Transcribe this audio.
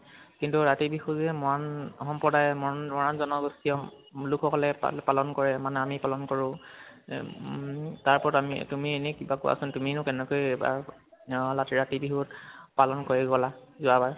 কিন্তু, ৰাতি বিহু যে মন সম্প্ৰদায় মৰাণৰ জনগোষ্ঠীয় লোকসকলে পালন কৰে মানে আমি পালন কৰোঁ উম তাৰওপৰত আমি তুমি এনেই কিবা তাৰ উপৰত কোৱা চোন । তুমিনো কেনেকৈ পা ম ৰাতি, ৰাতি বিহু পালন কৰি গলা যোৱাবাৰ